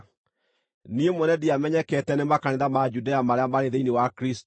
Niĩ mwene ndiamenyekete nĩ makanitha ma Judea marĩa marĩ thĩinĩ wa Kristũ.